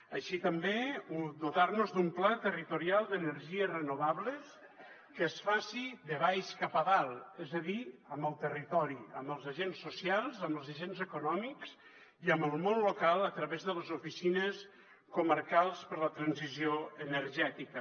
així també dotar nos d’un pla territorial d’energies renovables que es faci de baix cap a dalt és a dir amb el territori amb els agents socials amb els agents econòmics i amb el món local a través de les oficines comarcals per a la transició energètica